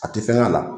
A tɛ fɛn k'a la